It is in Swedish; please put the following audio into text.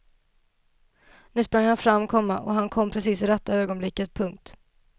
Nu sprang han fram, komma och han kom precis i rätta ögonblicket. punkt